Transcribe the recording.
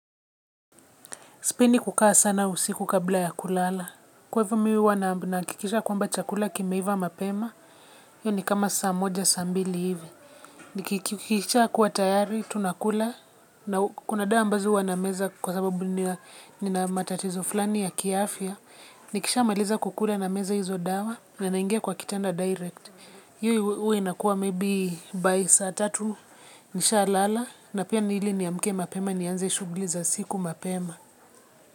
Sipendi kukaa sana usiku kabla ya kulala. Kwa hivyo mi huwa nahakikisha kwamba chakula kimeiva mapema, hiyo ni kama saa moja, saa mbili hivi. Kikishakuwa tayari, tunakula, na kuna dawa ambazo huwa nameza kwa sababu nina matatizo fulani ya kiafya. Nikishamaliza kukula nameza hizo dawa, na naingia kwa kitanda direct. Hii huwa inakuwa maybe by saa tatu nishalala, na pia ni ile niamke mapema nianze shughuli za siku mapema.